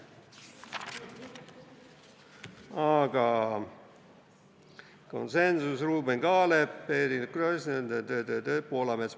Aga, konsensus, Ruuben Kaalep, Eerik-Niiles Kross, ta-ta-ta-ta-taa, Poolamets.